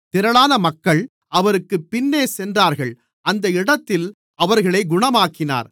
திரளான மக்கள் அவருக்குப் பின்னே சென்றார்கள் அந்த இடத்தில் அவர்களை குணமாக்கினார்